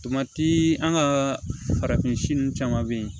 an ka farafin nun caman be ye